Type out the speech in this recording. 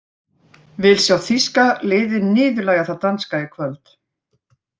Vil sjá þýska liðið niðurlægja það danska í kvöld.